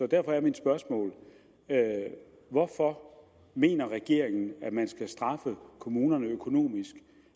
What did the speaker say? derfor er mit spørgsmål hvorfor mener regeringen at man skal straffe kommunerne økonomisk